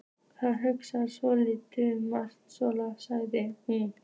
Það hugsa örugglega margir svona, sagði hún.